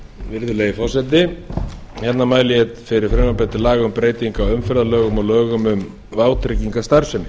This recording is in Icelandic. á umferðarlögum númer fimmtíu nítján hundruð áttatíu og sjö og lögum um vátryggingastarfsemi